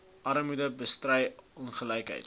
armoede bestry ongelykhede